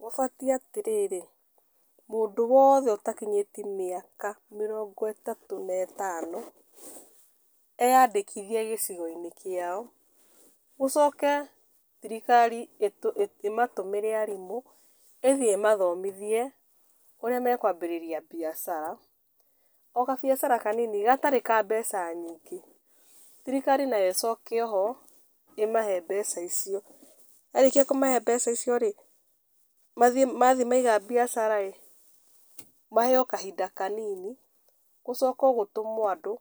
Gũbatiĩ atĩrĩrĩ, mũndũ woothe ũtakinyĩtie mĩaka mĩrongo ĩtatũ na ĩtano, eyandĩkithie gĩcigo-inĩ kĩao, gũcoke thirikari ĩmatũmĩre arimũ, ĩthiĩ ĩmathomithie ũrĩa mekwambĩrĩria mbiacara, o gabiacara kanini gatarĩ ka mbeca nyingĩ, thirikari nayo ĩcoke oho, ĩmahe mbeca icio, yarĩkia kũmahe mbeca icio-rĩ, mathi mathiĩ maiga mbiacara-rĩ, maheo kahinda kanini, gũcokwo gũtũmwo andũ